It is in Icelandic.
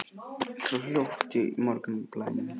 Það er allt svo hljótt í morgunblænum.